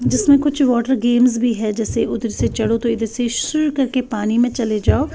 जिसमें कुछ water games भी है जैसे उधर से चढ़ो तो इधर से सु करके पानी में चले जाओ।